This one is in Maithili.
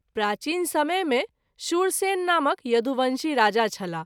प्राचीन समय मे शूरसेन नामक यदुवंशी राजा छलाह।